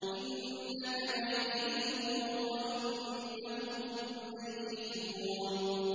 إِنَّكَ مَيِّتٌ وَإِنَّهُم مَّيِّتُونَ